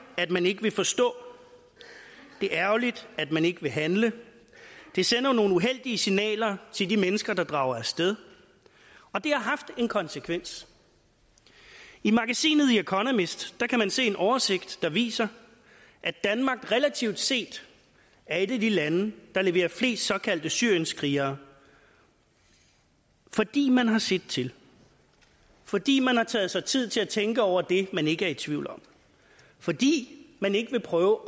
at man ikke vil forstå det er ærgerligt at man ikke vil handle det sender nogle uheldige signaler til de mennesker der drager af sted og det har haft en konsekvens i magasinet the economist kan man se en oversigt der viser at danmark relativt set er et af de lande der leverer flest såkaldte syrienskrigere fordi man har set til fordi man har taget sig tid til at tænke over det man ikke er i tvivl om fordi man ikke vil prøve